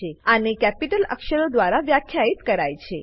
આને કેપિટલ અક્ષરો દ્વારા વ્યાખ્યિત કરાય છે